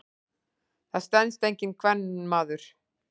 Það stenst enginn kvenmaður.